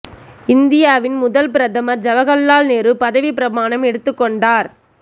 இந்தியாவின் முதல் பிரதமர் ஜவகர்லால் நேரு பதவி பிரமாணம் எடுத்துக் கொண்டார்